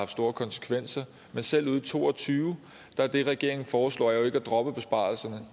store konsekvenser men selv ude i to og tyve er det regeringen foreslår jo ikke at droppe besparelserne